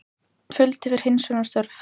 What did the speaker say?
Fjöldi við hreinsunarstörf